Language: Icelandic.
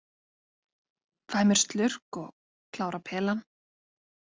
Fæ mér slurk og klára pelann.